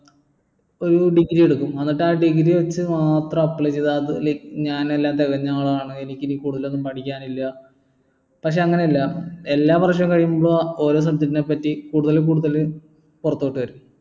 ഒരു degree എടുക്കും എന്നിട്ട് ആ degree വെച്ച് മാത്രം apply ചെയ്തു അത് like ഞാൻ എല്ലാം തികഞ്ഞ ആളാണ് എനിക്കിനി കൂടുതലൊന്നും പഠിക്കാനില്ല പക്ഷേ അങ്ങനെയല്ല എല്ലാവർഷം കഴിയുമ്പോൾ ഓരോ subject നെ പറ്റി കൂടുതൽ കൂടുതൽ പുറത്തോട്ട് വരും